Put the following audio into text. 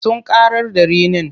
Sun ƙarar da rinin.